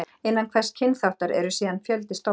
Innan hvers kynþáttar eru síðan fjöldi stofna.